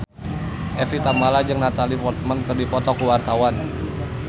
Evie Tamala jeung Natalie Portman keur dipoto ku wartawan